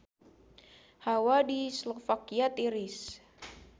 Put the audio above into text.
Hawa di Slovakia tiris